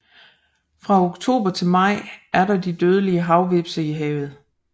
Fra oktober til maj er der de dødelige havhvepse i havet